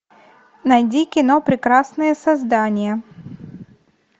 найди кино прекрасные создания